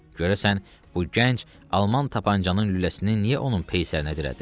Görəsən, bu gənc alman tapançanın lüləsini niyə onun peysərinə dirədi?